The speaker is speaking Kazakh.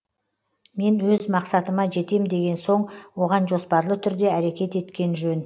мен өз мақсатыма жетем деген соң оған жоспарлы түрде әрекет еткен жөн